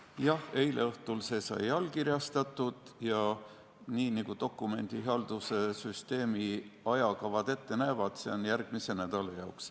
Jah, eile õhtul sai see allkirjastatud ja nii nagu dokumendihalduse süsteemi ajakavad ette näevad, on see järgmise nädala jaoks.